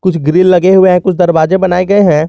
कुछ ग्रील लगे हुए हैं कुछ दरवाजे बनाए गए हैं।